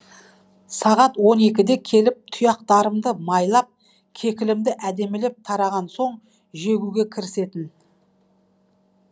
сағат он екіде келіп тұяқтарымды майлап кекілімді әдемілеп тараған соң жегуге кірісетін